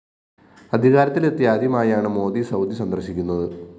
അധികാരത്തിലെത്തി ആദ്യമായാണ് മോദി സൗദി സന്ദര്‍ശിക്കുന്നത്